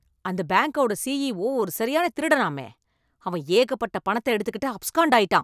அந்த பேங்கோட சிஇஓ ஒரு சரியான திருடனாமே, அவன் ஏகப்பட்ட பணத்தை எடுத்துகிட்டு அப்ஸ்காண்டாயிட்டான்